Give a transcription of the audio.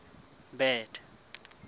bad